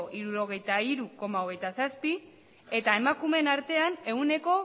hirurogeita hiru koma hogeita zazpia eta emakumeen artean ehuneko